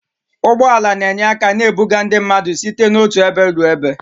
Ụgbọ ala na-enye aka na-ebuga ndị mmadụ site n'otu ebe ruo ebe